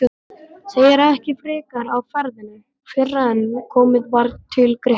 Segir ekki frekar af ferðinni fyrren komið var til Grikklands.